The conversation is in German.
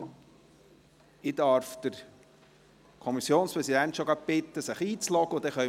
Ich darf den Kommissionspräsidenten bereits bitten, sich einzuloggen.